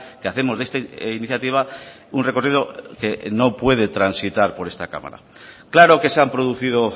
que hacemos de esta iniciativa un recorrido que no puede transitar por esta cámara claro que se han producido